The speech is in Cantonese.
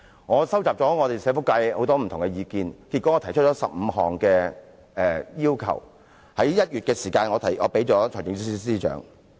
我收集了社福界很多不同意見，最後我提出15項要求，並在1月提交予財政司司長。